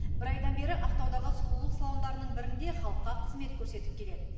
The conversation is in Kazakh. бір айдан бері ақтаудағы сұлулық салондарының бірінде халыққа қызмет көрсетіп келеді